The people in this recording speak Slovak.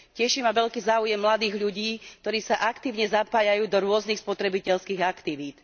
Teší ma veľký záujem mladých ľudí, ktorí sa aktívne zapájajú do rôznych spotrebiteľských aktivít.